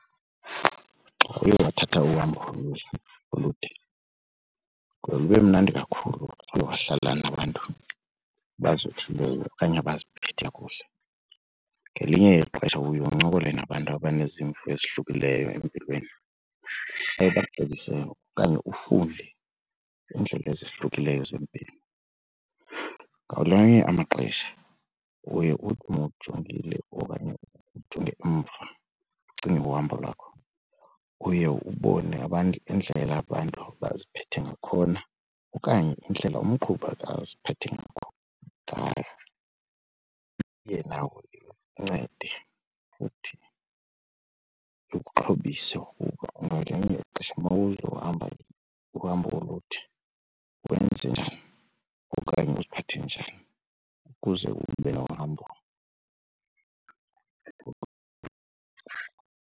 Xa uye wathatha uhambo ulude kuye kube mnandi kakhulu xa uye wahlala nabantu abazothileyo okanye abaziphethe kakuhle. Ngelinye ixesha uye uncokole nabantu abanezimvo ezahlukileyo empilweni abaye bakucebise okanye ufunde iindlela ezohlukileyo zempilo. Ngamanye amaxesha uye uthi mawujongile okanye ujonge umva ucinge uhambo lwakho uye ubone abantu indlela abantu abaziphathe ngakhona okanye indlela umqhubi aziphathe ngayo. Iye ikuncede futhi ikuxhobisa ukuba ngelinye ixesha mawuzohamba uhambo olude wenze njani okanye uziphathe njani ukuze ube nohambo .